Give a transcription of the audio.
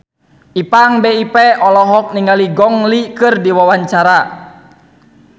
Ipank BIP olohok ningali Gong Li keur diwawancara